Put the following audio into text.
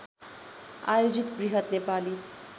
आयोजित बृहत नेपाली